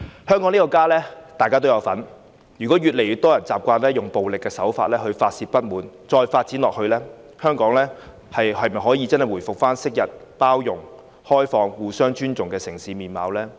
香港這個家，大家都有份，如果越來越多人習慣以暴力手法來發泄不滿，這樣發展下去，香港能否回復昔日包容、開放和互相尊重的城市面貌呢？